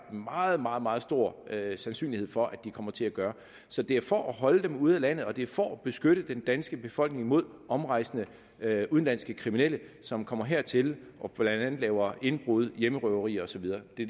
meget meget meget stor sandsynlighed for at de kommer til at gøre så det er for at holde dem ude af landet og det er for at beskytte den danske befolkning mod omrejsende udenlandske kriminelle som kommer hertil og blandt andet laver indbrud hjemmerøverier og så videre det